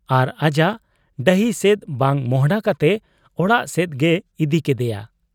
ᱟᱨ ᱟᱡᱟᱜ ᱰᱟᱹᱦᱤ ᱥᱮᱫ ᱵᱟᱝ ᱢᱚᱸᱦᱰᱟ ᱠᱟᱛᱮ ᱚᱲᱟᱜ ᱥᱮᱫ ᱜᱮᱭ ᱤᱫᱤ ᱠᱮᱫᱮᱭᱟ ᱾